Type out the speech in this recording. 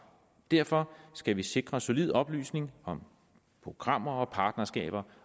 derfor skal vi sikre solid oplysning om programmer og partnerskaber